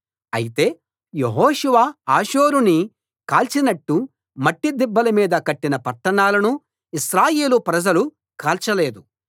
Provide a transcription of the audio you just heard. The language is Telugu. అయితే యెహోషువ హాసోరుని కాల్చినట్టు మట్టి దిబ్బల మీద కట్టిన పట్టణాలను ఇశ్రాయేలు ప్రజలు కాల్చలేదు